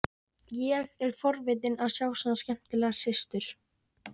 Ég er forvitinn að sjá svona skemmtilega systur.